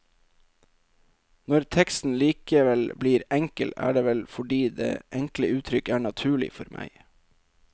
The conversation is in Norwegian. Når teksten likevel blir enkel, er det vel fordi det enkle uttrykk er naturlig for meg.